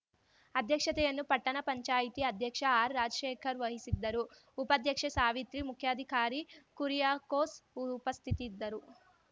ಅಧ್ಯಕ್ಷತೆಯನ್ನು ಪಟ್ಟಣ ಪಂಚಾಯ್ತಿ ಅಧ್ಯಕ್ಷ ಆರ್‌ರಾಜಶೇಖರ್‌ ವಹಿಸಿದ್ದರುಉಪಾಧ್ಯಕ್ಷೆ ಸಾವಿತ್ರಿ ಮುಖ್ಯಾಧಿಕಾರಿ ಕುರಿಯಾಕೋಸ್‌ ಉಪಸ್ಥಿತಿರಿದ್ದರು